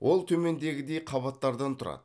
ол төмендегідей қабаттардан тұрады